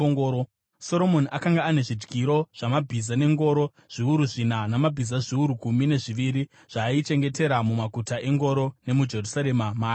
Soromoni akanga ane zvidyiro zvamabhiza nengoro, zviuru zvina, namabhiza zviuru gumi nezviviri zvaaichengetera mumaguta engoro nemuJerusarema maaiva.